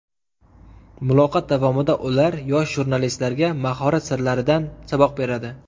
Muloqot davomida ular yosh jurnalistlarga mahorat sirlaridan saboq beradi.